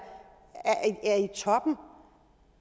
i toppen